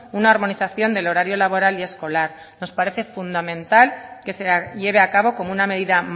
una armonización del horario laboral y escolar nos parece fundamental que se lleve a cabo como una medida